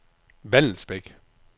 Vallensbæk